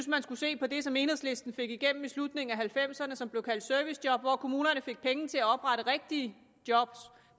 man skulle se på det som enhedslisten fik igennem i slutningen af nitten halvfemserne som blev kaldt servicejob hvor kommunerne fik penge til at oprette rigtige job